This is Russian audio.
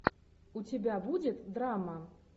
у тебя будет драма